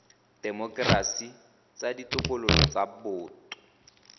temokerasi tsa ditokololo tsa boto